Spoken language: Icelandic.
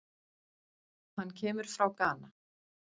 Hann kemur frá Gana.